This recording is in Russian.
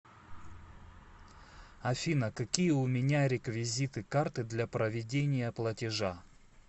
афина какие у меня реквизиты карты для проведения платежа